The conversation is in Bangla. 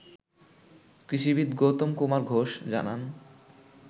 কৃষিবিদ গৌতম কুমার ঘোষ জানান